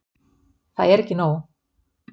Það er ekki nóg.